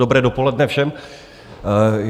Dobré dopoledne všem.